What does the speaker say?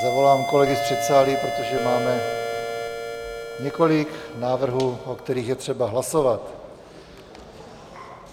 Zavolám kolegy z předsálí, protože máme několik návrhů, o kterých je třeba hlasovat.